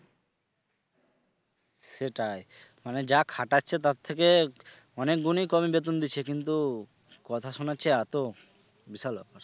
সেটাই মানে যা খাটাচ্ছে তার থেকে অনেক গুণী কম বেতন দিচ্ছে কিন্তু কথা শোনাচ্ছে এতো বিশাল ব্যাপার।